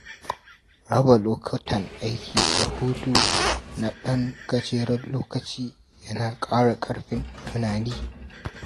Raba lokutan aiki da hutu na ɗan gajeren lokaci yana ƙara ƙarfin tunani.